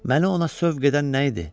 Məni ona sövq edən nə idi?